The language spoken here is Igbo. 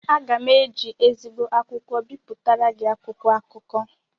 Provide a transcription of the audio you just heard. Aga m eji ezigbo akwụkwọ bipụtara gị akwụkwọ akụkọ